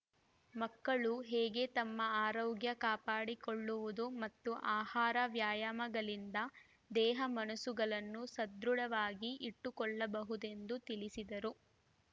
ಮಕ್ಕಳು ಹೇಗೆ ತಮ್ಮ ಆರೋಗ್ಯ ಕಾಪಾಡಿಕೊಳ್ಳುವುದು ಮತ್ತು ಆಹಾರ ವ್ಯಾಯಾಮಗಳಿಂದ ದೇಹ ಮನಸ್ಸುಗಳನ್ನು ಸದೃಢವಾಗಿ ಇಟ್ಟುಕೊಳ್ಳಬಹುದೆಂದು ತಿಳಿಸಿದರು